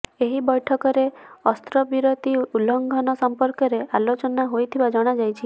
ଏହି ବୈଠକରେ ଅସ୍ତ୍ରବିରତି ଉଲ୍ଲଙ୍ଘନ ସମ୍ପର୍କରେ ଆଲୋଚନା ହୋଇଥିବା ଜଣାଯାଇଛି